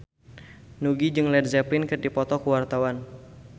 Nugie jeung Led Zeppelin keur dipoto ku wartawan